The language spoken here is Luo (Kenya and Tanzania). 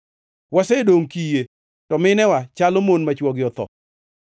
Wasedongʼ kiye, to minewa chalo mon ma chwogi otho.